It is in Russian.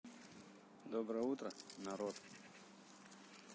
доброе утро народ